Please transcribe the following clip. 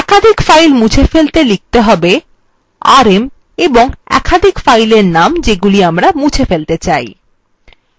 একাধিক files মুছে ফেলতে লিখতে হবেrm এবং একাধিক filesএর name যেগুলি আমরা মুছে ফেলতে চাই